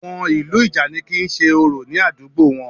Àwọn ìlú ìjànikin ń ṣe orò ní àdúgbò wọn